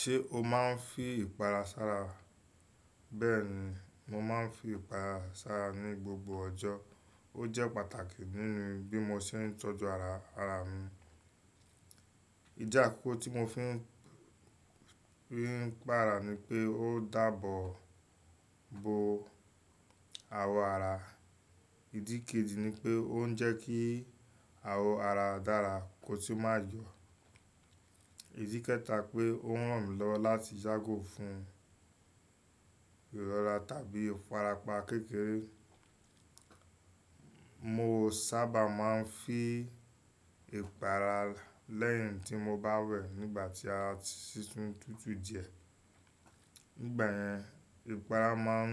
Ṣé o máa ń fi ìpara sára? Bẹ́ẹ̀ni, mo máa ń fi ìpara sára ní gbogbo ọjọ́. Ó jẹ́ pàtàkì nínú bí mo ṣe ń tọ́jú ara, ara mi. Ìjà àkọ́kọ́ tí mo fi rí ń pa ara ni pé ó dáàbò bo awọ ara. Ìdí kejì nípé oun jẹ́ kí awọ ara dára kotun ma. Ìdí kẹta pe ó ràn mí lọ́wọ́ láti yago fún ìrọra tàbí ìfarapa kékeré. Mo sábà máa ń fi ìpara lẹ́yìn tí mo bá wẹ̀ nígbà tí a ti tún tutù díẹ̀. Nígbà yẹn, ìpara máa ń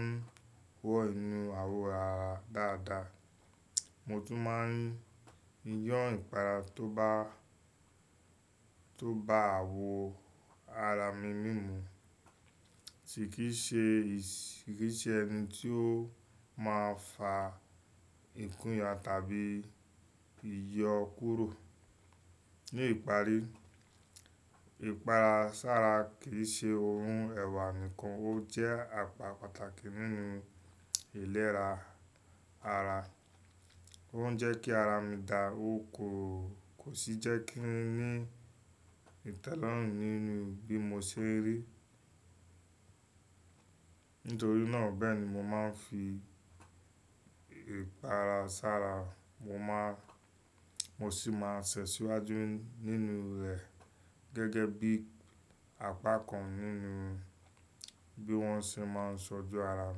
wọ inú awọ ara dáadáa. Mo tún máa ń yọ ìpara tó bá, tó bá awọ ara mi mímu. Tí kì í ṣe, kì í ṣe ẹni tí ó máa fà ìkúnìyàn tàbí ìyọ kúrò. Ní ìparí, ìpara sára kì í ṣe ohun ẹ̀wà nìkan, ó jẹ́ apá pàtàkì nínú ìlera ara. Ó ń jẹ́ kí ara mi dà, o kò, kò sì jẹ́ kí n ní ìtẹ́lọ́rùn nínú bí mo ṣe ń rí. Nítorí náà, bẹ́ẹ̀ ni mo máa ń fi ìpara sára. Mo máa, mo sì máa ṣẹ̀sì wáju nínú rẹ̀ gegi bí apá kan nínú bí wọ́n ṣe máa ń tọ́jú ara.